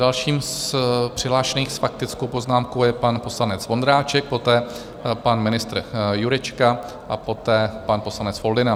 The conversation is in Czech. Dalším z přihlášených s faktickou poznámkou je pan poslanec Vondráček, poté pan ministr Jurečka a poté pan poslanec Foldyna.